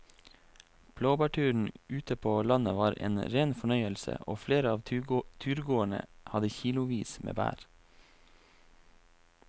Blåbærturen ute på landet var en rein fornøyelse og flere av turgåerene hadde kilosvis med bær.